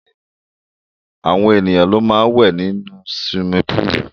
Àwọn èèyàn ló máa wẹ̀ ní siwimi púùlù.